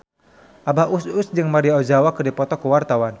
Abah Us Us jeung Maria Ozawa keur dipoto ku wartawan